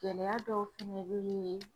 Gɛlɛya dɔw fɛnɛ bɛ ye